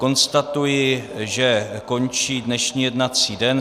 Konstatuji, že končí dnešní jednací den.